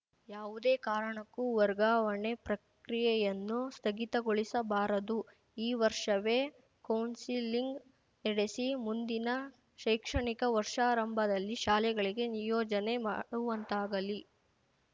ಯಾವುದೇ ಕಾರಣಕ್ಕೂ ವರ್ಗಾವಣೆ ಪ್ರಕ್ರಿಯೆಯನ್ನು ಸ್ಥಗಿತಗೊಳಿಸಬಾರದು ಈ ವರ್ಷವೇ ಕೌನ್ಸೆಲಿಂಗ್‌ ನಡೆಸಿ ಮುಂದಿನ ಶೈಕ್ಷಣಿಕ ವರ್ಷಾರಂಭದಲ್ಲಿ ಶಾಲೆಗಳಿಗೆ ನಿಯೋಜನೆ ಮಾಡುವಂತಾಗಲಿ